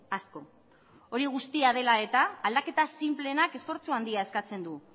asko hori guztia dela eta aldaketa sinpleenak esfortzu handia eskatzen du